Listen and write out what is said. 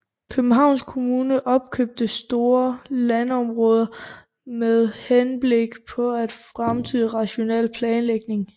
Københavns Kommune opkøbte store landområder med henblik på fremtidig rationel planlægning